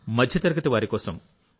మధ్యతరగతి వారి కోసం